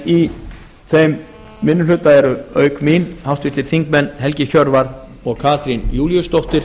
í þeim minni hluta eru auk mín háttvirtir þingmenn helgi hjörvar og katrín júlíusdóttir